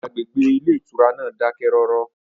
Agbègbè ilé ìtura náà dákẹ́rọ́rọ́